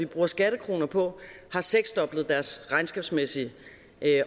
bruger skattekroner på har seksdoblet deres regnskabsmæssige